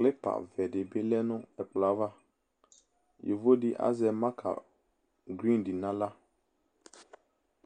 NA vɛdibi lɛ nʋ ɛkplɔava yovodibi azɛ NA naɣla